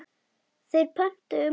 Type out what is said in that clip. Þeir pöntuðu mat.